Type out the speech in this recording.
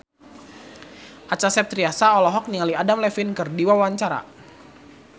Acha Septriasa olohok ningali Adam Levine keur diwawancara